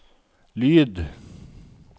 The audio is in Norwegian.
lyd